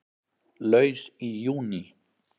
Laus í júní